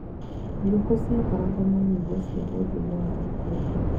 Thigũkũ ciakoragwo na nyĩmbo cia ũndũire wa Gĩkũyũ.